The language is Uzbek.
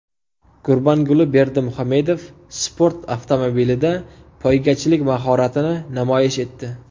Gurbanguli Berdimuhamedov sport avtomobilida poygachilik mahoratini namoyish etdi .